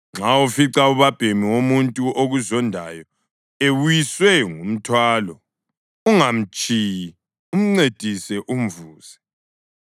Nxa ufica ubabhemi womuntu okuzondayo ewiswe ngumthwalo, ungamtshiyi, umncedise umvuse.